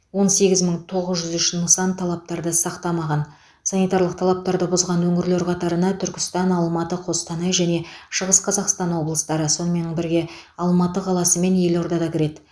он сегіз мың тоғыз жүз үш нысан талаптарды сақтамаған санитарлық талаптарды бұзған өңірлер қатарына түркістан алматы қостанай және шығыс қазақстан облыстары сонымен бірге алматы қаласы мен елорда да кіреді